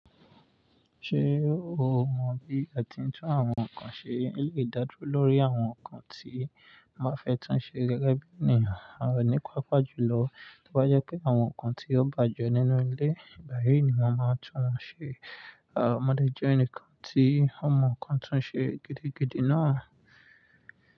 Ṣé o mọ bí a ti ń tún àwọn nǹkan ṣe? Ó lè dádúro lórí àwọn nǹkan tí a bá fẹ́ tún ṣe gẹ́gẹ́ bí ènìyàn. Àwọn oní pápá jùlọ tó bá jẹ́ pé àwọn nǹkan tí ó bàjẹ́ nínú ilé, ìgbàyí ni wọ́n máa tún wọ́n ṣe. Àwọn ọmọdé jẹ́ ènìyàn kan tí wọ́n mọ nǹkan tún ṣe gidigidi náà.